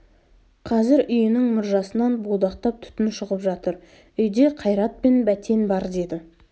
қазір үйінің мұржасынан будақтап түтін шығып жатыр үйде қайрат пен бәтен бар деді